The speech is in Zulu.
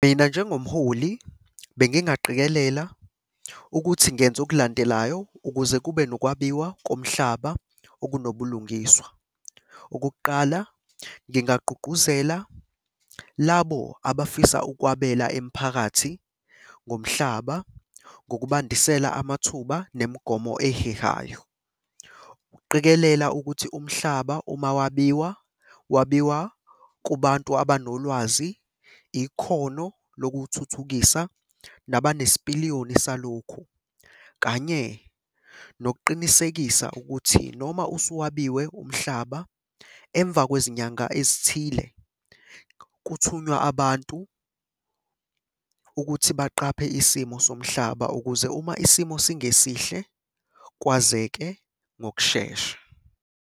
Mina njengomholi bengingaqikelela ukuthi ngenze okulandelayo ukuze kube nokwabiwa komhlaba okunobulungiswa. Okokuqala, ngingagqugquzela labo abafisa ukwabela imphakathi ngomhlaba ngokubandisela amathuba nemigomo ehehayo. Ukuqikelela ukuthi umhlaba uma wabiwa, wabiwa kubantu abanolwazi, ikhono lokuwuthuthukisa, nabanesipiliyoni salokhu, kanye nokuqinisekisa ukuthi noma usuwabiwe umhlaba, emva kwezinyanga ezithile kuthunywa abantu ukuthi baqaphe isimo somhlaba ukuze uma isimo singesihle kwazeke ngokushesha.